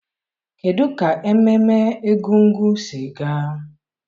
kedụ ka ememme egúngún si gaa?